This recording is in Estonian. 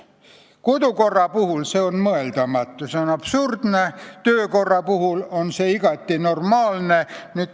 Kodukorra normide puhul on see absurdne, töökorra puhul oleks see igati normaalne.